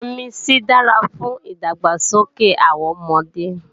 Vitamin C dára fún ìdàgbàsókè àwọn ọmọdé